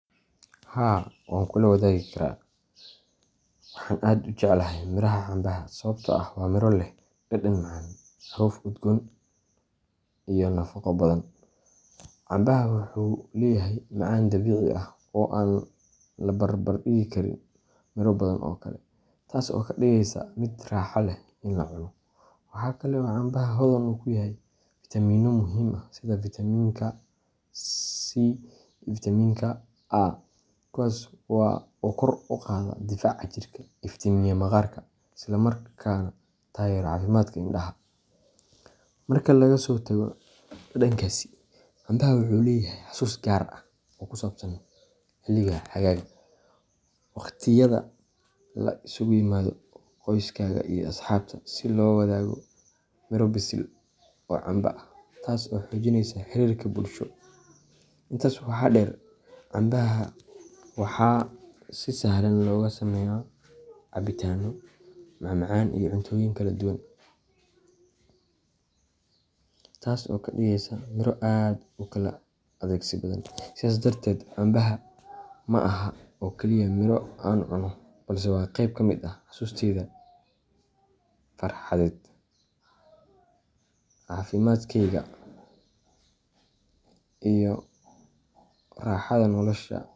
Haa wankula wadagi karaa, waxaan aad u jeclahay miraha cambaha sababtoo ah waa miro leh dhadhan macaan, caraf udgoon, iyo nafaqo badan. Cambaha wuxuu leeyahay macaan dabiici ah oo aan la barbar dhigi karin miro badan oo kale, taas oo ka dhigaysa mid raaxo leh in la cuno. Waxa kale oo cambaha hodan ku yahay fitamiinno muhiim ah sida Vitaminka C iyo Vitaminka A, kuwaas oo kor u qaada difaaca jirka, iftiimiya maqaarka, isla markaana taageera caafimaadka indhaha. Marka laga soo tago dhadhankiisa, cambaha wuxuu leeyahay xasuus gaar ah oo ku saabsan xilliga xagaaga, waqtiyada la isugu yimaado qoyskaga iyo asxaabta si loo wadaago miro bisil oo camba ah, taas oo xoojinaysa xiriirka bulsho. Intaa waxaa dheer, cambaha waxaa si sahlan looga sameeyaa cabitaanno, macmacaan iyo cuntooyin kala duwan, taas oo ka dhigaysa miro aad u kala adeegsi badan. Sidaas darteed, cambaha ma aha oo kaliya miro aan cuno, balse waa qayb ka mid ah xasuusteyda farxadeed, caafimaadkeyga, iyo raaxada nolosha.